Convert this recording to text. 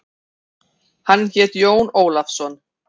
Hann hét Jón Ólafsson.